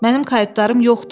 Mənim kayutlarım yoxdur.